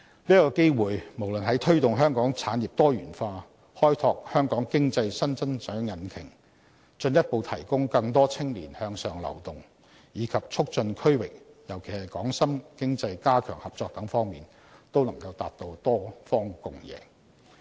這次機會，無論在推動香港產業多元化、開拓香港經濟新增長引擎、進一步提供更多青年向上流動，以及促進區域，尤其是港深經濟加強合作等方面，均能達至多方共贏。